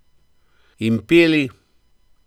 In peli.